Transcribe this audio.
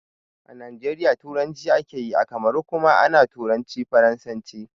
A najeriya turanci akeyi, a kamaru kuma ana turanci faransanci